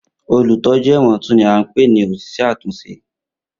Olutọju ẹ̀wọ̀n tun ni a npe ni oṣiṣẹ atunṣe.